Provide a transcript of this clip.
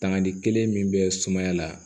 Tani kelen min bɛ sumaya la